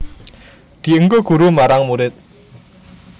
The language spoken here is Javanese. Dienggo guru marang murid